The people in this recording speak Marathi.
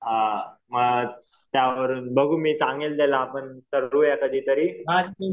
हां मग बघू मी सांगेल त्याला मग करूया कधीतरी